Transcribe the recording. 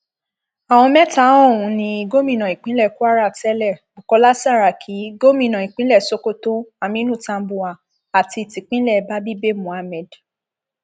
àwọn mẹta ọhún ní gómìnà ìpínlẹ kwara tẹlẹ bukola saraki gómìnà ìpínlẹ sokoto aminu tambuwal àti tìpínlẹ babíh bay mohammed